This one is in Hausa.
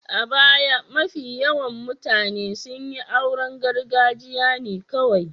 A baya, mafi yawan mutane sun yi auren gargajiya ne kawai.